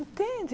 Entende?